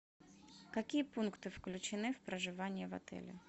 какие пункты включены в проживание в отеле